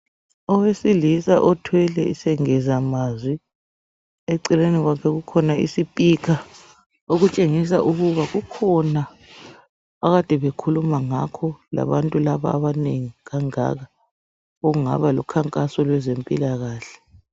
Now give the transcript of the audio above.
Owesilisa othwele isengezamazwi eceleni kwakhe kukhona isipikha okutshengisa ukuba kukhona akade bekhuluma ngakho labantu laba abanengi kangaka okungaba lukhankaso lwezempilakahle.